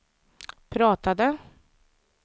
pratade